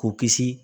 K'u kisi